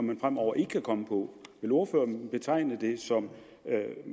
man fremover ikke kan komme på vil ordføreren betegne dem som